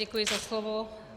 Děkuji za slovo.